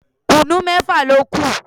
Kùnú mẹ́fà ló kù